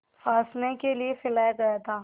फँसाने के लिए फैलाया गया था